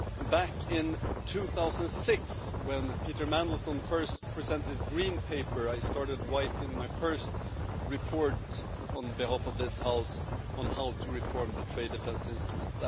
Back in 2006, when Peter Mandelson first presented his green paper, I started writing my first report on behalf of this House on how to reform the trade defence instrument.